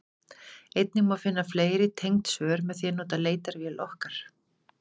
einnig má finna fleiri tengd svör með því að nota leitarvél okkar